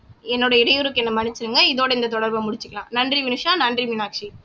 என்னுடைய இடையூறுக்கு என்னை மன்னிச்சிடுங்க இதோட இந்த தொடர்பை முடிச்சிக்கலாம் நன்றி வினுஷா நன்றி மீனாட்சி